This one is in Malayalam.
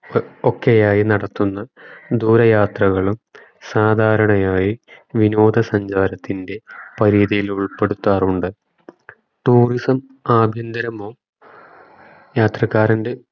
ഒക്കെയായി നടത്തുന്ന ദൂര യാത്രകളും സാദാരണയായി വിനോദ സഞ്ചാരത്തിന്റെ പരീതിയിലുൾപ്പെടുത്താറുണ്ട് tourism ആഭ്യന്തരമോ യാത്രക്കാരന്റെ